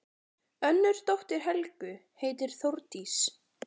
Önnur dóttir Helgu heitir Þórdís.